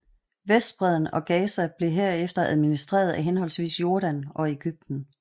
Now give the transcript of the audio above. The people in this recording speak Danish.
Vestbredden og Gaza blev herefter administreret af henholdsvis Jordan og Ægypten